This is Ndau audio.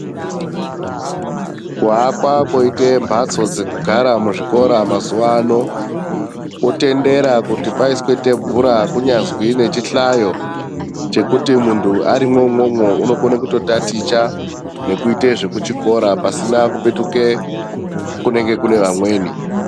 Kuakwa kwoite mhatso dzekugara muzvikora mazuwa ano, kwotendera kuti paiswe thebhura kunyazi nechihlayo chekuti muntu arimwo umwomwo, unokone kutotaticha, nekuite zvekuchikora pasina kupetuke ,kunenge kune vamweni.